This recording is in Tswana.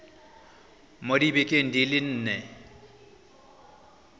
mo dibekeng di le nne